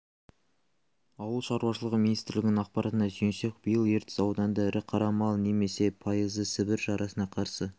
ауыл шаруашылығы министрлігінің ақпаратына сүйенсек биыл ертіс ауданында ірі қара мал немесе пайызы сібір жарасына қарсы